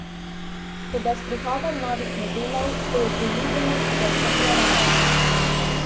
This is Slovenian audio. Toda s prihodom novih modelov se je priljubljenost še stopnjevala.